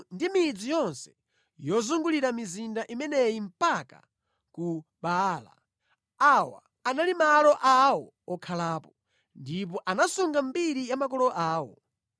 ndi midzi yonse yozungulira mizinda imeneyi mpaka ku Baala. Awa anali malo awo okhalapo. Ndipo anasunga mbiri ya makolo awo.